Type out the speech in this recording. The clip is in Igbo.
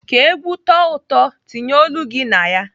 Ka ègwú tọọ ụtọ, tinye olu gị na ya.